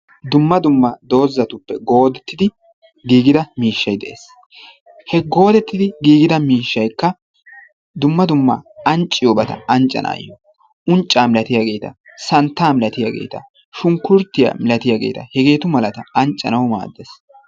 Dumma dumma doozatuppe goodettidi. giigida miishshay de'ees. He goodettidi giigida miishshaykka dumma dumma ancciyobata anccanawu unccaa milatiyageeta, santtaa milatiyageeta, shunkkuruutiya milatiyageeta hegeetu malata anccanawu maaddees.